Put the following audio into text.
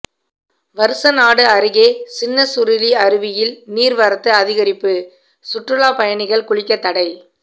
வருசநாடு அருகே சின்னசுருளி அருவியில் நீர்வரத்து அதிகரிப்பு சுற்றுலாப் பயணிகள் குளிக்க தடை